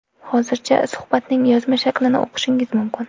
Hozircha, suhbatning yozma shaklini o‘qishingiz mumkin.